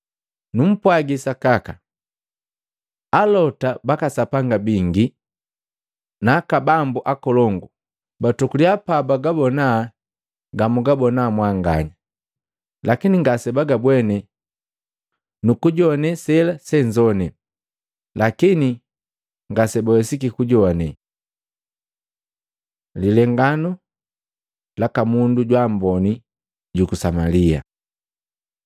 Numpwagi sakaka, alota baka Sapanga bingi na aka bambu akolongu batokuliya bagabona gamwagabona mwanganya, lakini ngasebagabwene, nukujoane sela senzoane, lakini ngasebawesiki kujoane.” Lilenganu laka mundu jwaamboni juku Samalia